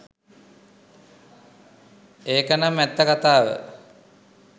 ඒකනම් ඇත්ත කතාව